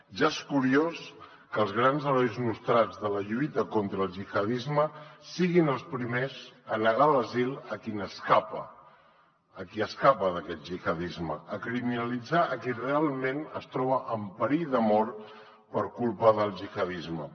ja és curiós que els grans herois nostrats de la lluita contra el gihadisme siguin els primers a negar l’asil a qui n’escapa a qui escapa d’aquest gihadisme a criminalitzar a qui realment es troba en perill de mort per culpa del gihadisme